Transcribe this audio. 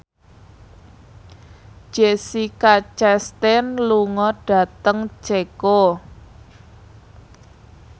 Jessica Chastain lunga dhateng Ceko